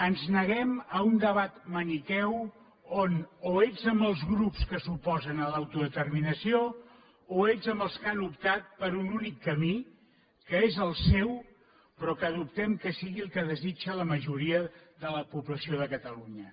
ens neguem a un debat maniqueu on o ets amb els grups que s’oposen a l’autodeterminació o ets amb els que han optat per un únic camí que és el seu però que dubtem que sigui el que desitja la majoria de la població de catalunya